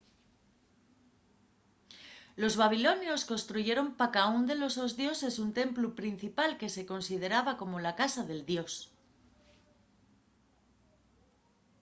los babilonios construyeron pa caún de los sos dioses un templu principal que se consideraba como la casa del dios